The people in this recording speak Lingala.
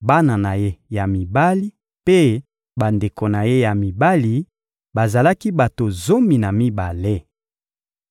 bana na ye ya mibali mpe bandeko na ye ya mibali: bazalaki bato zomi na mibale.